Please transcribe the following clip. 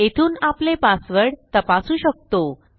येथून आपले पासवर्ड तपासू शकतो